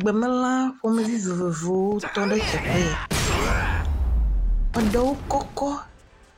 Gbemelã ƒomevi vovovowo tɔ ɖe afiya. Eɖewo kɔkɔ,